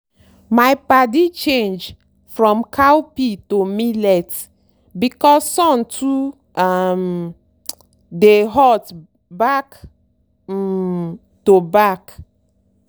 my padi change from cowpea to millet because sun too um dey hot back um to back.